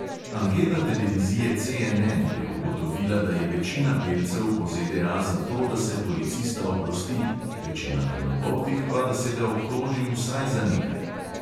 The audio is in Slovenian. Anketa televizije CNN je ugotovila, da je večina belcev po ZDA za to, da se policista oprosti, večina temnopoltih pa, da se ga obtoži vsaj za nekaj.